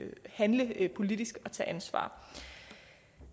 handle politisk og tage ansvar